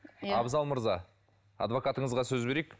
абзал мырза адвокатыңызға сөз берейік